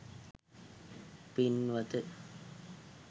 පින්වත